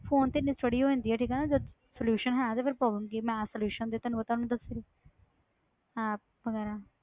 Phone ਤੇ ਇੰਨੀ study ਹੋ ਜਾਂਦੀ ਆ ਠੀਕ ਹੈ ਨਾ ਜਦ solution ਹੈ ਤੇ problem ਕੀ ਮੈਂ solution ਤੇ ਤੈਨੂੰ ਪਤਾ ਉਹਨੂੰ ਦੱਸ ਰਹੀ app ਵਗ਼ੈਰਾ,